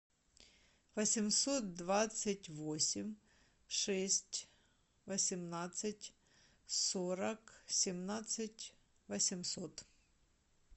восемьсот двадцать восемь шесть восемнадцать сорок семнадцать восемьсот